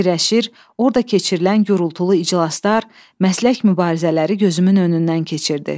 Fikirləşir, orda keçirilən gürultulu iclaslar, məslək mübarizələri gözümün önündən keçirdi.